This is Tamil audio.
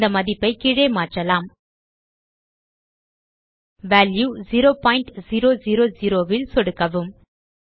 இந்த மதிப்பை கீழே மாற்றலாம் வால்யூ 0000 ல் சொடுக்கவும்